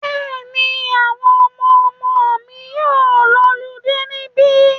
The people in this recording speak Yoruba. Bẹ́ẹ̀ni, àwọn ọmọmọ mi yóò lọludé níbí.